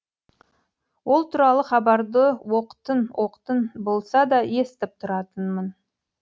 ол туралы хабарды оқтын оқтын болса да естіп тұратынмын